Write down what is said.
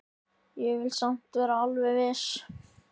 Ég vil samt vera alveg viss.